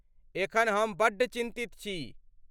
एखन हम बड्ड चिन्तित छी।